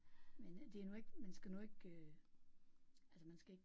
Men det er nu ikke man skal nu ikke altså man skal ikke